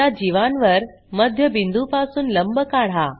त्या जीवांवर मध्यबिंदूपासून लंब काढा